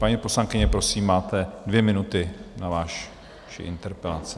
Paní poslankyně, prosím, máte dvě minuty na vaši interpelaci.